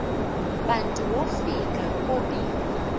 bantu wofika bobile